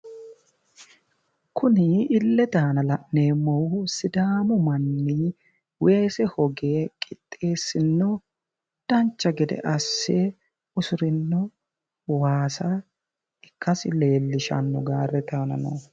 Kuni illete aana la'neemmohu sidaamu manni weese hoge qixxeessinno dancha gede asse usurino waasa ikkasi leellishanno gaarrete aana noohu.